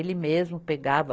Ele mesmo pegava